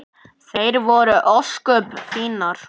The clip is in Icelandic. Þær voru ósköp fínar.